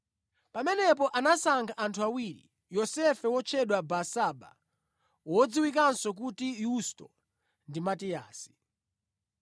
Pamenepo anasankha anthu awiri, Yosefe wotchedwa Barsaba (wodziwikanso kuti Yusto) ndi Matiyasi.